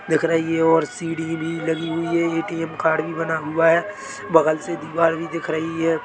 --दिख रही है और सीडी भी लगी हुई है ए_टी_एम कार्ड भी बना हुआ है बगल से दीवार भी दिख रही है।